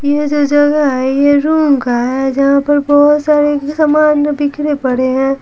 ये जो जगह है ये रूम का है जहाँ पर बहुत सारे सामान बिखड़े पड़े हैं।